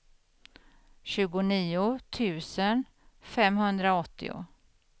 tjugonio tusen femhundraåttio